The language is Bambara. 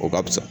O ka fisa